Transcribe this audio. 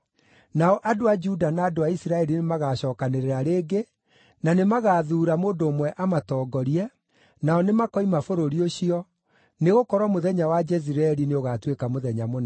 Nao andũ a Juda na andũ a Isiraeli nĩmagacookanĩrĩra rĩngĩ, na nĩmagathuura mũndũ ũmwe amatongorie, nao nĩmakoima bũrũri ũcio, nĩgũkorwo mũthenya wa Jezireeli nĩũgaatuĩka mũthenya mũnene.